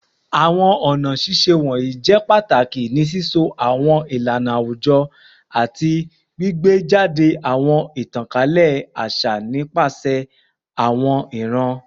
Awọn ọna ṣiṣe wọnyi jẹ pataki ni sisọ awọn ilana awujọ ati gbigbejade awọn itankalẹ aṣa nipasẹ awọn iran